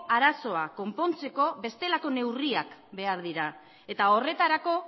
arazoa konpontzeko bestelako neurriak behar dira eta horretarako